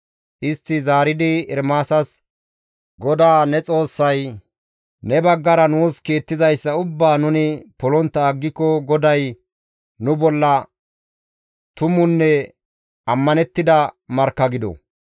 Istti zaaridi Ermaasas, «GODAA ne Xoossay ne baggara nuus kiittizayssa ubbaa nuni polontta aggiko GODAY nu bolla tumunne ammanettida markka gido.